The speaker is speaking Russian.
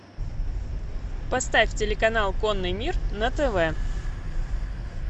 поставь телеканал конный мир на тв